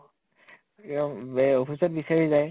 একদম বে office ত বিচাৰি যায় ।